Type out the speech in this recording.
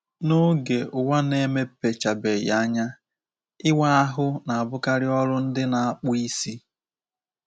N’oge Ụwa Na-emepechabeghị Anya, ịwa ahụ na-abụkarị ọrụ ndị na-akpụ isi.